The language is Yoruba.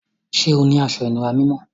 Ṣẹ́ ọ ni àṣọ-ìnúrà mímọ́?